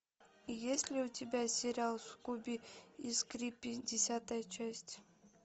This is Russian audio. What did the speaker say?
есть ли у тебя сериал скуби и скрепи десятая часть